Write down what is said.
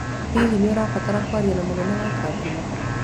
Hihi nĩ ũrabatara kwaria na mũnene wa kambuni?